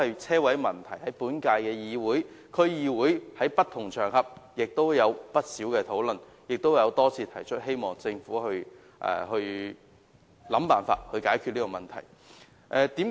車位的問題在本屆議會、區議會和不同場合均有不少討論，並已多次提出，希望政府能設法解決這個問題。